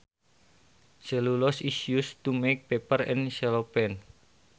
Cellulose is used to make paper and cellophane